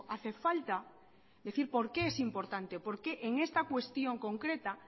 hace falta decir por qué es importante por qué en esta cuestión concreta